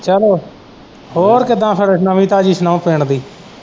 ਚੱਲੋ ਹੋਰ ਕਿਦਾਂ ਫਿਰ ਨਵੀਂ ਤਾਜੀ ਸੁਣਾਉ ਪਿੰਡ ਦੀ।